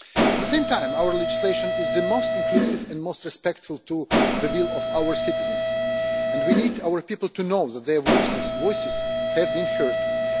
At the same time, our legislation is the most inclusive and most respectful of the will of our citizens, and we need our people to know that their voices have been heard.